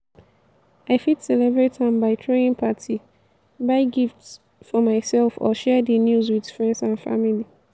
i fit celebrate am by throwing party buy gifts for myself or share di news with friends and family.